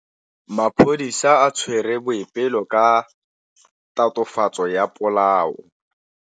Maphodisa a tshwere Boipelo ka tatofatsô ya polaô.